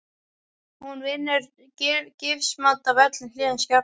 Hún vinnur gifsmót af öllum hliðum skápsins.